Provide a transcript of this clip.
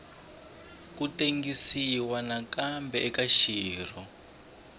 ku tengisiwa nakambe eka xirho